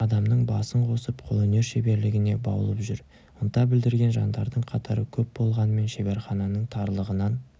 адамның басын қосып қолөнер шеберлігіне баулып жүр ынта білдірген жандардың қатары көп болғанымен шеберхананың тарлығынан